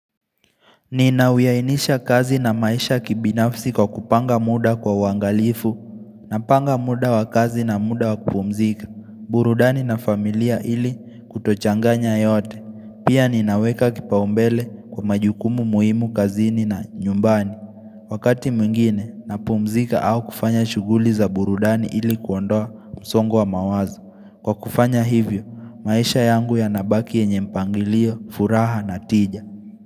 Ninawiyainisha kazi na maisha kibinafsi kwa kupanga muda kwa uangalifu, napanga muda wa kazi na muda wa kupumzika, burudani na familia ili kutochanganya yote, pia ninaweka kipaumbele kwa majukumu muhimu kazini na nyumbani. Wakati mwingine, napumzika au kufanya shuguli za burudani ili kuondoa msongo wa mawazo. Kwa kufanya hivyo, maisha yangu yanabaki yenye mpangilio, furaha na tija.